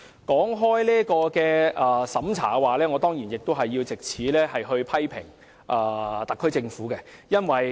談到審查，我當然要藉此機會批評特區政府。